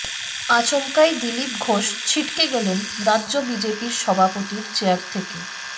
আচমকাই দিলীপ ঘোষ ছিটকে গেলেন রাজ্য বিজেপির সভাপতির চেয়ার থেকে